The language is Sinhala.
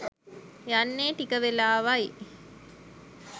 යන්නේ ටික වෙලාවයි